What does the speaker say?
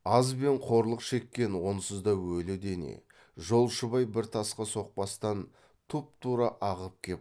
аз бен қорлық шеккен онсыз да өлі дене жолшыбай бір тасқа соқпастан тұпа тура ағып кеп